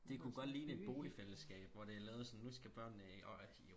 det kunne godt ligne et boligfællesskab hvor det er lavet sådan nu skal børnene